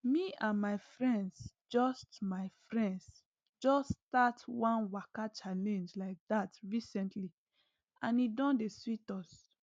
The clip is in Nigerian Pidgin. me and my friends just my friends just start one waka challenge like dat recently and e don dey sweet us